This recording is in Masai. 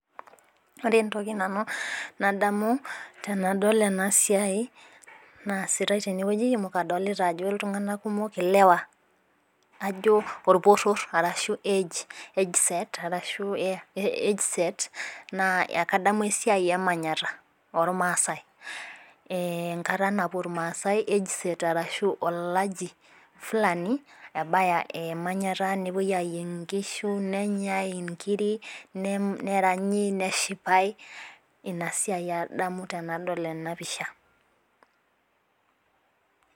Ore entoki nanu nadamu tenadol ena siai naasitae tenewueji amu kadolita ajo iltung'anak kumok, ilewa, ajo orporrorr ashu age set arashu age set naa ekadamu esiai e manyatta ormaasai, enkata napwo irmaasai age set arashu olaji fulani ebaya e manyatta nepwoi ayieng' inkishu nenyae inkiri, neranyi, neshipae. Ina siai adamu tenadol ena pisha